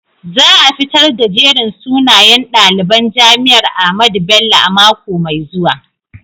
Za a fitar da jerin sunayen daliban jami'ar Ahmadu Bello a mako mai zuwa.